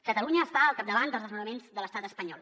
catalunya està al capdavant dels desnonaments de l’estat espanyol